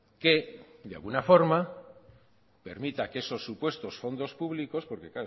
que de alguna forma permita que esos supuesto fondos públicos porque